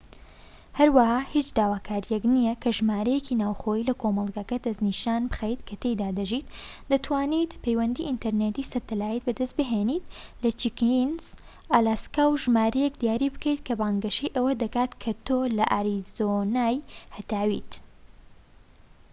هەروەها هیچ داواکاریەک نییە کە ژمارەیەکی ناوخۆیی لە کۆمەڵگەکە دەست بخەیت کە تێیدا دەژیت؛ دەتوانیت پەیوەندی ئینتەرنێتی سەتەلایت بەدەست بهێنیت لە چکینس، ئالاسکا و ژمارەیەک دیاری بکەیت کە بانگەشەی ئەوە دەکات کە تۆ لە ئاریزۆنای هەتاویت‎